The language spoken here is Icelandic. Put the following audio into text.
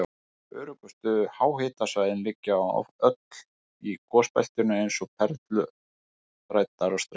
Öflugustu háhitasvæðin liggja öll í gosbeltinu eins og perlur þræddar á streng.